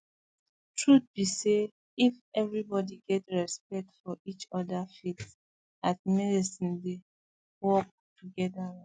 truth be say if everybody get respect for each other faith and medicine dey work together well